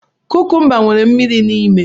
Kukumba nwere mmiri n'ime.